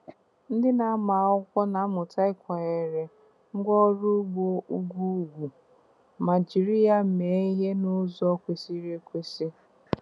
Ndị na-amụ akwụkwọ na-amụta ịkwanyere ngwá ọrụ ugbo ugwu ùgwù ma jiri ya mee ihe n'ụzọ kwesịrị ekwesị.